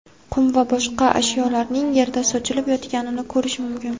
qum va boshqa ashyolarning yerda sochilib yotganini ko‘rish mumkin.